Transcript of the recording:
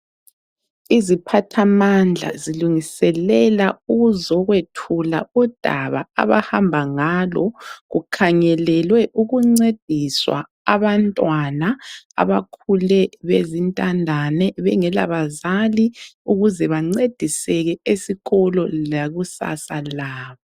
Iziphathamandla zilungiselela ukuzokwethula udaba abahamba ngalo kukhangelelwe ukuncedisa abantwana abakhule bezintandane bengelabazali ukuze bancediseke esikolo lekusasa labo.